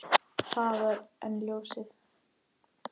Hraðar en ljósið.